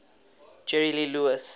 jerry lee lewis